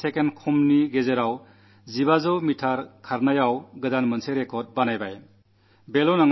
7 second കുറച്ചു സമയം കൊണ്ട് 1500 മീറ്റർ ഓട്ടത്തിൽ പുതിയ റെക്കാഡ് സ്ഥാപിച്ചു